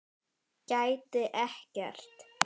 Gæti ekkert.